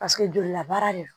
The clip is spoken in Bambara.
Paseke jolila baara de don